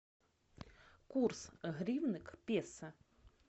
курс гривны к песо